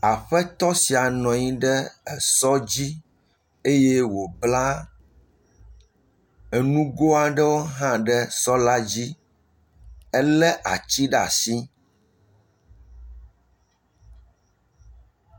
Aƒetɔ sia nɔ anyi ɖe esɔ dzi eye wobla enugo aɖewo hã ɖe sɔ la dzi. Ele atsi ɖe ashi.